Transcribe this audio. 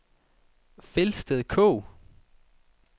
Felsted Kog